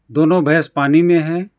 दोनों भैंस पानी में हैं।